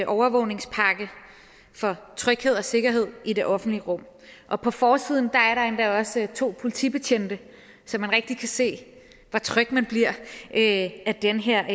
overvågningspakke for tryghed og sikkerhed i det offentlige rum og på forsiden er der endda også to politibetjente så man rigtig kan se hvor tryg man bliver af den her